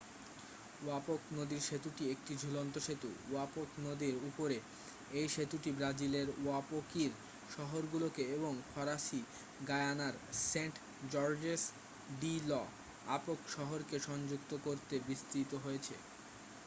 Oyapock নদীর সেতুটি একটি ঝুলন্ত সেতু ওয়াপক নদীর উপরে এই সেতুটি ব্রাজিলের ওয়াপোকির শহরগুলোকে এবং ফরাসি গায়ানার সেন্ট জর্জেস ডি ল'অ্যাপক শহরকে সংযুক্ত করতে বিস্তৃত হয়েছে